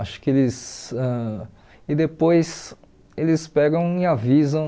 Acho que eles ãh... E depois eles pegam e avisam